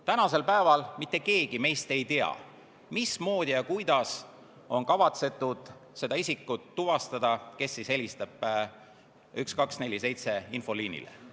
Tänasel päeval mitte keegi meist ei tea, mismoodi ja kuidas on kavatsetud seda isikut tuvastada, kes helistab infoliinile 1247.